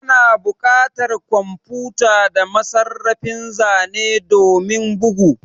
Ana buƙatar kwamfuta da masarrafin zane domin bugu